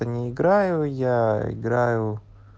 это не играю я играю